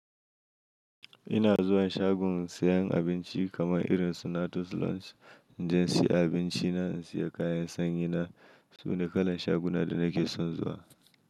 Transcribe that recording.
Ina zuwa shagon siyan abinci kamar irin su Natus Lunch, in je in siya abinci na, in siya kayan sanyi na, su ne kalar shaguna da nake son zuwa.